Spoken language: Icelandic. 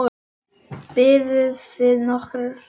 Biðuð þið nokkurn tíma?